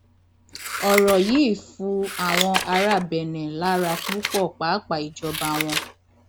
ọrọ yìí fu àwọn ará benne lára púpọ pàápàá ìjọba wọn